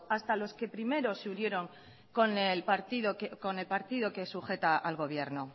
hasta los que primero se unieron con el partido que sujeta al gobierno